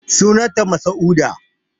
Sunan ta masa'uda